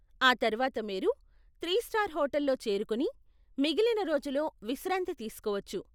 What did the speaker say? ఆ తర్వాత మీరు త్రి స్టార్ హోటల్లో చేరుకొని మిగిలిన రోజులో విశ్రాంతి తీసుకోవచ్చు.